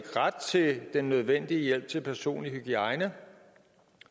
ret til den nødvendige hjælp til personlig hygiejne